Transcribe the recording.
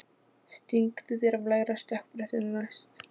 Stingdu þér af lægra stökkbrettinu næst.